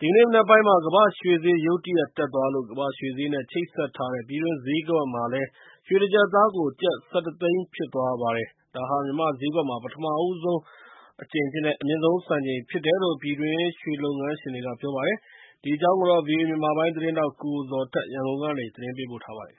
ဒီကနေ့မနက်ပိုင်းမှာ ကမ္ဘာရွှေဈေးရုတ်တရက် တက်သွားလို့ ကမ္ဘာ့ရွှေဈေးနဲ့ချိတ်ဆက်ထားတဲ့ ပြည်တွင်းဈေးကွက်မှာလည်း ရွှေတကျပ်သားကို ကျပ် ၁၁သိန်းဖြစ်သွားပါတယ်။ ဒါဟာ မြန်မာ့ဈေးကွက်မှာ ပထမဦးဆုံး အမြင့်ဆုံးစံချိန်ဖြစ်တယ်လို့ ပြည်တွင်းရွှေလုပ်ငန်းရှင်တွေက ပြောပါတယ်။ ဒီအကြောင်း ဗွီအိုအေ မြန်မာပိုင်းသတင်းထောက် ကိုဇော်ထက် ရန်ကုန်ကနေ ပေးပို့ထားပါတယ်။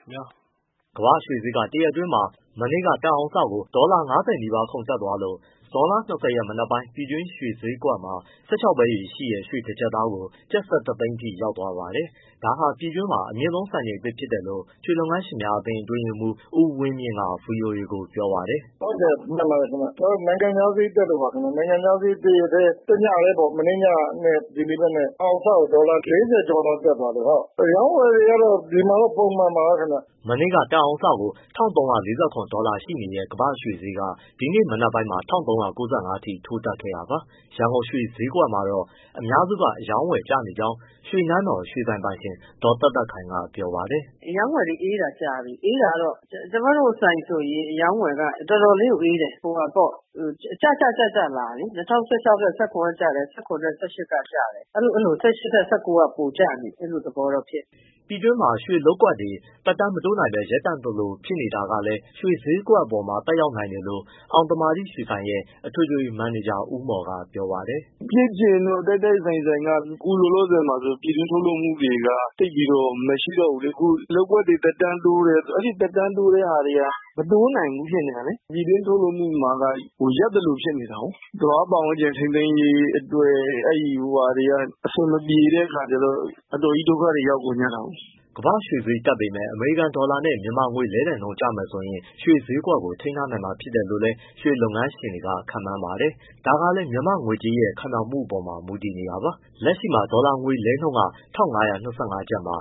ကမ္ဘာ့ရွှေဈေးက တရက်အတွင်းမှာ ဒေါ်လာ ၅၀ နီးပါးခုန်တက်သွားလို့ ဇွန်လ ၂၀ရက် မနက်ပိုင်း ပြည်တွင်းရွှေဈေးကွက်မှာ ၁၆ပဲရည်ရှိတဲ့ ရွှေတကျပ်သားကို ကျပ်၁၁သိန်းအထိရောက်သွားပါတယ်။ ဒါဟာ ပြည်တွင်းမှာ အမြင့်ဆုံးစံချိန်သစ်ဖြစ်တယ်လို့ မြန်မာနိုင်ငံ ရွှေလုပ်ငန်းရှင်များအသင်း အတွင်းရေးမှူး ဦးဝင်းမြင့်က ဗွီအိုအေကိုပြောပါတယ်။ “ ဟုတ်တယ်မှန်ပါတယ်ခင်ဗျ နိုင်ငံခြားဈေး တရက်တည်း၊ တညတည်းပေါ့ မနေ့ညနဲ့ ဒီနေ့မနက် တအောင်စကိုဒေါ်လာ ၄၀ကျော်လောက် တက်သွားလို့။ အရောင်းအဝယ်ကတော့ ဒီမှာတော့ ပုံမှန်ပါပဲ ခင်ဗျ။” မနေ့က တအောင်စကို ၁၃၄၇ဒေါ်လာရှိနေတဲ့ ကမ္ဘာ့ရွှေဈေးက ဒီနေ့မနက်ပိုင်းမှာ ၁၃၉၅အထိ ထိုးတက်ခဲ့တာပါ။ ရန်ကုန်ရွှေဈေးကွက်မှာတော့ အများစုက အရောင်းအဝယ်ကျနေကြောင်း ရွှေနန်းတော် ရွှေဆိုင်ပိုင်ရှင် ဒေါ်သက်သက်ခိုင်ကပြောပါတယ်။ “ အရောင်းအဝယ်အေးတာကြာပြီ အေးတာကတော့ကျမတို့ဆိုင်ဆိုရင် အရောင်းအဝယ်က တော်တော်လေးကိုအေးတယ်။ ကျကျလာတယ် ၂၀၁၆ထက် ၁၇ ကကျတယ်၊ ၁၇ ထက် ၁၈ ကကျတယ်။ အဲလို ၁၈ထက် ၁၉ က ပိုကျနေတယ်။ အဲလိုသဘောမျိုးဖြစ်နေတယ်။” ပြည်တွင်းရွှေလုပ်ကွက်တွေ သက်တမ်းမတိုးနိုင်ဘဲ ရပ်တန့်သလိုဖြစ်နေတာကလည်း ရွှေဈေးကွက်အပေါ်သက်ရောက်နိုင်တယ်လို့ အောင်သမာဓိရွှေဆိုင်ရဲ့ အထွေထွေမန်နေဂျာ ဦးမော်ကပြောပါတယ်။ “ ဖြစ်ချင်တော့ တိုက်တိုက်ဆိုင်ဆိုင်က အခုလောလောဆယ်မှာဆိုရင် ပြည်တွင်းထုတ်လုပ်မှုတွေက သိပ်ပြီးတော့မရှိတော့ဘူးလေ။ လုပ်ကွက်တွေသက်တမ်းတိုးတယ်၊ အဲဒီသက်တမ်းတိုးတဲ့ဟာတွေက မတိုးနိုင်ဘူးဖြစ်နေတာလေ။ ပြည်တွင်းထုတ်လုပ်မှုမှာက ရပ်သလိုဖြစ်နေတာကိုး သဘာဝပတ်ဝန်းကျင် ထိန်းသိမ်းရေးအတွက် အဆင်မပြေတဲ့အခါကျတော့ အတော်ကြီးဒုက္ခတွေရောက်ကုန်ကြတာကိုး။” ကမ္ဘာ့ရွှေဈေးတက်ပေမဲ့ အမေရိကန်ဒေါ်လာနဲ့ မြန်မာငွေလဲလှယ်နှုန်းကျမယ်ဆိုရင် ရွှေဈေးကို ထိန်းထားနိုင်မှာလို့လည်း ရွှေလုပ်ငန်းရှင်တွေက ခန့်မှန်းပါတယ်။ ဒါကလည်း မြန်မာငွေကြေးရဲ့ ခိုင်မာမှုပေါ်လည်း မူတည်နေတာပါ။ လက်ရှိမှာဒေါ်လာငွေလဲနှုန်းက ၁၅၂၅ကျပ်မှာ